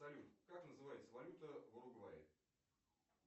салют как называется валюта в уругвае